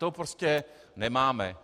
To prostě nemáme.